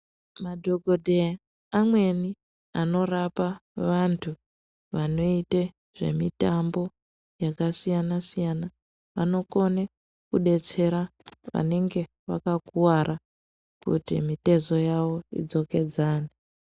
Madhokoteya amweni anorapa vantu vanoite zvemitambo yakasiyana siyana. Vanokone kudetsera vanenge vakakuwara kuti mitezo yawo idzokedzane.